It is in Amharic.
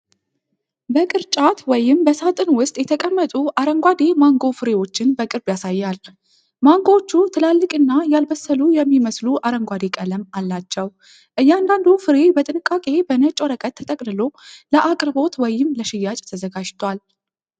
በቅርጫት ወይም በሣጥን ውስጥ የተቀመጡ አረንጓዴ ማንጎ ፍሬዎችን በቅርብ ያሳያል። ማንጎዎቹ ትላልቅና ያልበሰሉ የሚመስሉ አረንጓዴ ቀለም አላቸው። እያንዳንዱ ፍሬ በጥንቃቄ በነጭ ወረቀት ተጠቅልሎ ለአቅርቦት ወይም ለሽያጭ ተዘጋጅቷል።